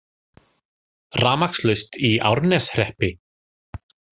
Rafmagnslaust í Árneshreppi